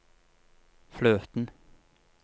fløten